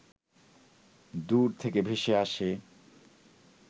দূর থেকে ভেসে আসে